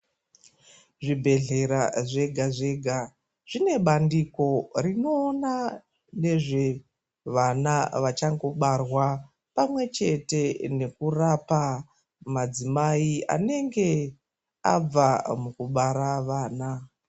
Zvibhedhlera zvega zvega zvinebandiko rinoona nezve vana vachangobarwa pamwechete nekurapa madzimai anenge abva mukubara vana.